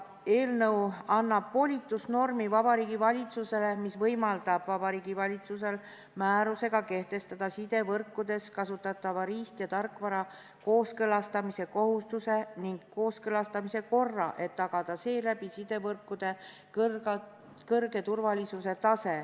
Eelnõu annab Vabariigi Valitsusele volitusnormi, mis võimaldab Vabariigi Valitsusel määrusega kehtestada sidevõrkudes kasutatava riist- ja tarkvara kooskõlastamise kohustuse ning kooskõlastamise korra, et tagada seeläbi sidevõrkude suur turvalisus.